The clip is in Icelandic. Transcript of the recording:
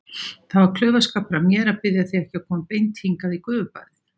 Það var klaufaskapur af mér að biðja þig ekki að koma beint hingað í gufubaðið.